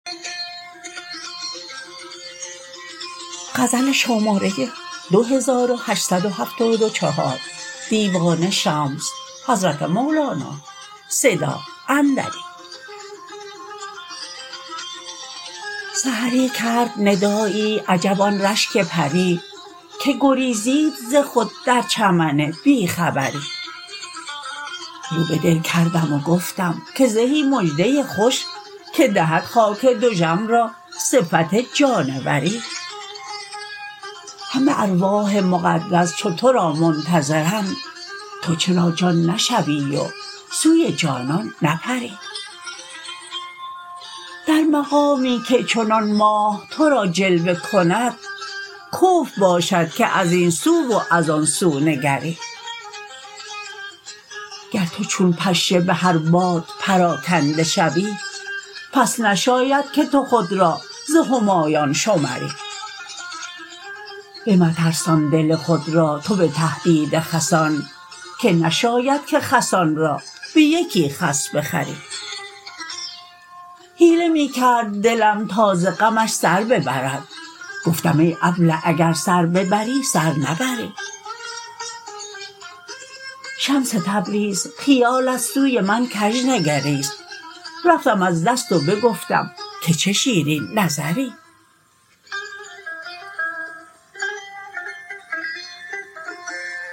سحری کرد ندایی عجب آن رشک پری که گریزید ز خود در چمن بی خبری رو به دل کردم و گفتم که زهی مژده خوش که دهد خاک دژم را صفت جانوری همه ارواح مقدس چو تو را منتظرند تو چرا جان نشوی و سوی جانان نپری در مقامی که چنان ماه تو را جلوه کند کفر باشد که از این سو و از آن سو نگری گر تو چون پشه به هر باد پراکنده شوی پس نشاید که تو خود را ز همایان شمری بمترسان دل خود را تو به تهدید خسان که نشاید که خسان را به یکی خس بخری حیله می کرد دلم تا ز غمش سر ببرد گفتم ای ابله اگر سر ببری سر نبری شمس تبریز خیالت سوی من کژ نگریست رفتم از دست و بگفتم که چه شیرین نظری